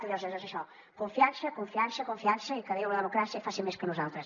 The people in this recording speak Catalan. i llavors és això confiança confiança confiança i que déu i la democràcia hi facin més que nosaltres